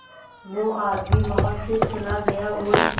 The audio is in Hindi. वो आदमी वहां से चला गया और